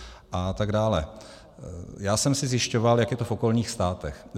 Já jsem si zjišťoval, jak je to v okolních státech.